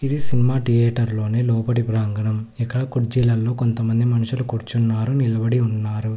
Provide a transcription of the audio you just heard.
ఈ cinema theatre లోని లోపటి ప్రాంగణం ఇక్కడ కుర్చీలలో కొంతమంది మనుషులు కూర్చున్నారు నిలబడి ఉన్నారు.